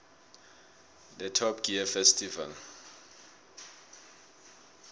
the top gear festival